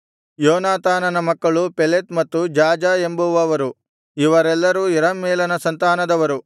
ಯೋನಾತಾನನ ಮಕ್ಕಳು ಪೆಲೆತ್ ಮತ್ತು ಜಾಜ ಎಂಬುವವರು ಇವರೆಲ್ಲರೂ ಯೆರಹ್ಮೇಲನ ಸಂತಾನದವರು